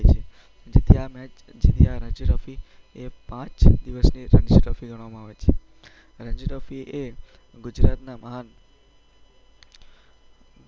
જેથી આ મેચ, જેથી આ રણજી ટ્રોફી એ પાંચ દિવસની રણજી ટ્રોફી ગણવામાં આવે છે. રણજી ટ્રોફી એ ગુજરાતના મહાન